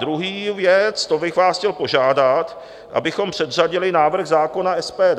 Druhá věc, to bych vás chtěl požádat, abychom předřadili návrh zákona SPD.